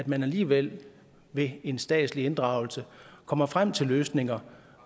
man alligevel ved en statslig inddragelse kommer frem til løsninger